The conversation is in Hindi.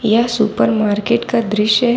यह सुपर मार्केट का दृश्य है।